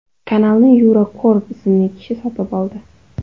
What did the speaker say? Kanalni Yura Korb ismli kishi sotib oldi.